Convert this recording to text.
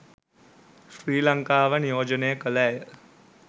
ශ්‍රී ලංකාව නියෝජනය කළ ඇය